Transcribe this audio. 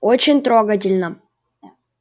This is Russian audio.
очень трогательно